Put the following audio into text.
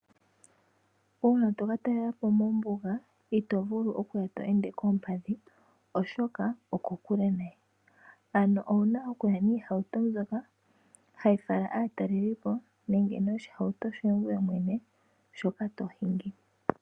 Uuna to katalela po mombuga ito vulu okuya tweende koompadhi oshoka okokule nayi. Ano owuna okuya niihauto mbyoka hayi fala aataleli po nenge noshihauto shoye mwene shoka tohingi.